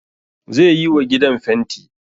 Ze yiwa gidan fenti